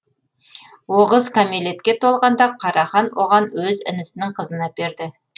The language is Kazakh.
оғыз кәмелетке толғанда қара хан оған өз інісінің қызын әперді